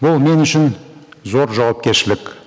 бұл мен үшін зор жауапкершілік